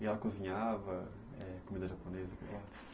E ela cozinhava, é, comida japonesa?